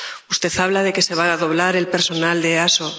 Usted habla de que se va a doblar el personal de la EASO.